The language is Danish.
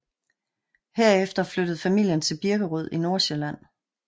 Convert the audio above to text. Herefter flyttede familien til Birkerød i Nordsjælland